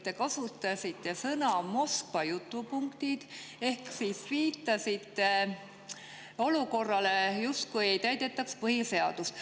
Te kasutasite sõnu "Moskva jutupunktid" ehk viitasite olukorrale, kus justkui ei täidetaks põhiseadust.